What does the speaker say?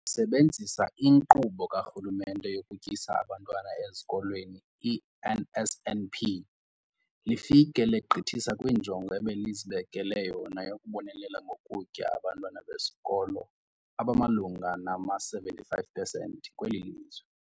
Lisebenzisa iNkqubo kaRhulumente yokuTyisa Abantwana Ezikolweni, i-NSNP, lifike legqithisa kwinjongo ebelizibekele yona yokubonelela ngokutya abantwana besikolo abamalunga nama-75 percent kweli lizwe.